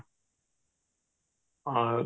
ହଁ